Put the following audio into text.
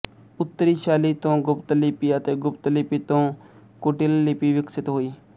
ਉੱਤਰੀ ਸ਼ੈਲੀ ਤੋਂ ਗੁਪਤ ਲਿਪੀ ਅਤੇ ਗੁਪਤ ਲਿਪੀ ਤੋਂ ਕੁਟਿਲ ਲਿਪੀ ਵਿਕਸਿਤ ਹੋਈ